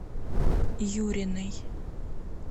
юриной